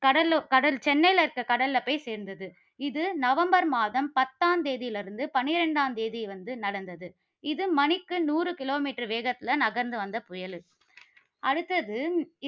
கடல்ல கடல் சென்னையில இருக்கிற கடல்ல போய் சேர்ந்தது. இது நவம்பர் மாதம் பத்தாம் தேதியில் இருந்து பனிரெண்டாம் தேதி வந்து நடந்தது. இது மணிக்கு நூறு kilometer வேகத்தில நகர்ந்து வந்த புயல் இது. அடுத்தது,